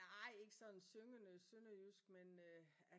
Nej ikke sådan syngende sønderjysk men øh